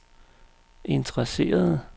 interesserede